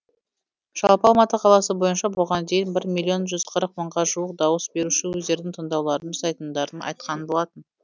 жалпы алматы қаласы бойынша бұған дейін бір миллион жүз қырық мыңға жуық дауыс беруші өздерінің таңдауларын жасайтындарын айтқан болатын